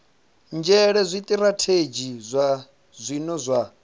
nzhele zwitirathedzhi zwa zwino zwa